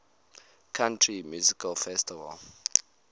country music festival